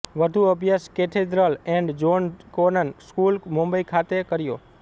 વધુ અભ્યાસ Cathedral and John Connon School Mumbai ખાતે કર્યો